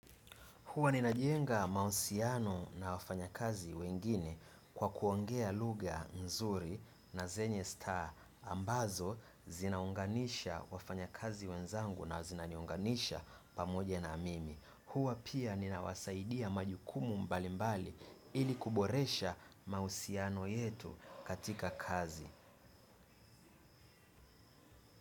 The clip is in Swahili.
Huwa ninajenga mahusiano na wafanyakazi wengine kwa kuongea lugha nzuri na zenye staha ambazo zinaunganisha wafanyakazi wenzangu na zinaniunganisha pamoja na mimi. Huwa pia ninawasaidia majukumu mbalimbali ili kuboresha mahusiano yetu katika kazi.